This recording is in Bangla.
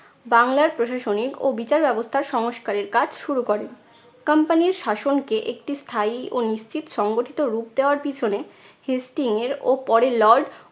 বাংলার প্রশাসনিক ও বিচার ব্যবস্থা সংস্কারের কাজ শুরু করেন। company র শাসনকে একটি স্থায়ী ও নিশ্চিত সংগঠিত রূপ দেওয়ার পিছনে হেস্টিং এর ও পরে lord